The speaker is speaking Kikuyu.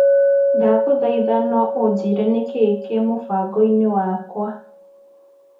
Ndagũthaitha no unjĩre nĩkĩĩ kĩ mũbango-inĩ wakwa .